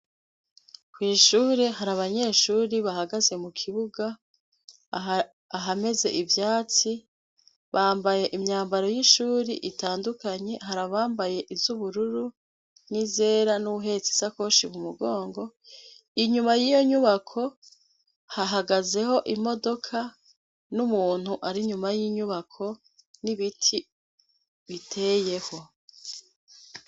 Kw'ishure har'abanyeshure bahagaze mu kibuga aha ahameze ivyatsi, bambaye imyambaro y'ishuri itandukanye, hari abambaye iz'ubururu n'izera, n'uwuhetse isakoshi mu mugongo. Inyuma y'iyo nyubako hahagaze ho imodoka n'umuntu ar'inyuma y'inyubako n'ibiti biteye ho.